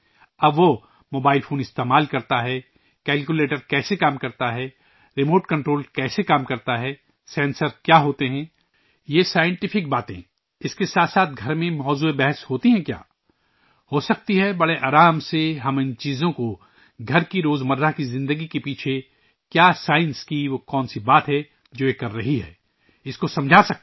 اب وہ mobile phone استعمال کرتا ہے، کیلکولیٹر کیسے کام کرتا ہے، ریموٹ کنٹرول کیسے کام کرتا ہے، سینسرز کیا ہیں؟ یہ سائنسٹفک باتیں ، اس کے ساتھ ساتھ گھر میں بات چیت میں ہوتی ہیں کیا ؟ ہو سکتی ہے بڑے آرام سے ، ہم اِن چیزوں کو گھر کی روز مرہ کی زندگی کے پیچھے کیا سائنس ہے کہ وہ کون سی بات ہے ، جو کر رہی ہے ، اس کو سمجھا سکتے ہیں